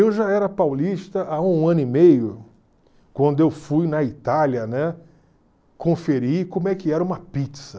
Eu já era paulista há um ano e meio, quando eu fui na Itália, né, conferir como é que era uma pizza.